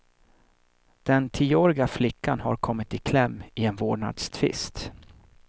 Den tioåriga flickan har kommit i kläm i en vårdnadstvist.